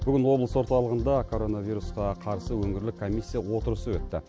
бүгін облыс орталығында коронавирусқа қарсы өңірлік комиссия отырысы өтті